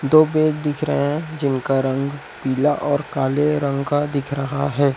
दो पेज दिख रहे है जिनका रंग पीला और काले रंग का दिख रहा है।